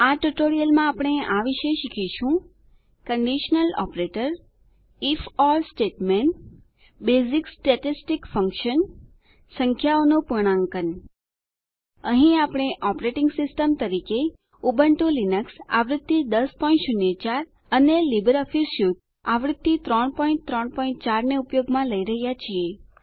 આ ટ્યુટોરીયલમાં આપણે આ વિશે શીખીશું કંડીશનલ ઓપરેટર ifઓર સ્ટેટમેંટ બેઝીક સ્ટેટેસ્ટીક ફંકશન્સ સંખ્યાઓ નું પૂર્ણાંકન અહીં આપણે ઓપરેટીંગ સિસ્ટમ તરીકે ઉબુંટૂ લિનક્સ આવૃત્તિ 1004 અને લીબરઓફીસ સ્યુટ આવૃત્તિ 334 ને ઉપયોગમાં લઇ રહ્યાં છીએ